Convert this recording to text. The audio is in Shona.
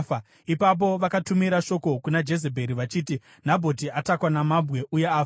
Ipapo vakatumira shoko kuna Jezebheri vachiti, “Nabhoti atakwa namabwe uye afa.”